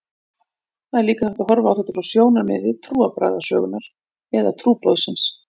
Svo er líka hægt að horfa á þetta frá sjónarmiði trúarbragðasögunnar eða trúboðsins.